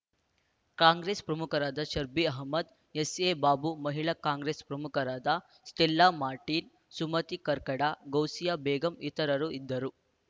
ಕಾಂಗ್ರೆಸ್‌ ಪ್ರಮುಖರಾದ ಶಬ್ಬಿರ್‌ ಅಹಮ್ಮದ್‌ ಎಸ್‌ಎಬಾಬು ಮಹಿಳಾ ಕಾಂಗ್ರೆಸ್‌ ಪ್ರಮುಖರಾದ ಸ್ಟೇಲ್ಲಾ ಮಾರ್ಟೀನ್‌ ಸುಮತಿ ಕರ್ಕಡ ಗೌಸಿಯಾ ಬೇಗಂ ಇತರರು ಇದ್ದರು